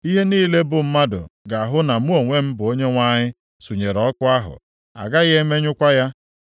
Ihe niile bụ mmadụ, ga-ahụ na mụ onwe m bụ Onyenwe anyị, sunyere ọkụ ahụ. A gaghị emenyụkwa ya.’ ”